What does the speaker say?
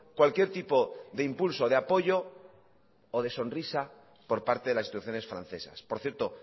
cualquier tipo de impulso de apoyo o de sonrisa por parte de las instituciones francesas por cierto